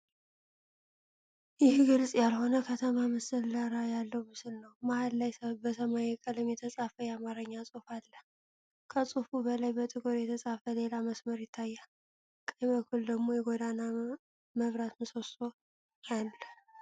ይህ ግልጽ ያልሆነ ከተማ መሰል ዳራ ያለው ምስል ነው። መሃል ላይ በሰማያዊ ቀለም የተጻፈ የአማርኛ ጽሑፍ አለ። ከጽሑፉ በላይ በጥቁር የተጻፈ ሌላ መስመር ይታያል፤ ቀኝ በኩል ደግሞ የጎዳና መብራት ምሰሶ አለ።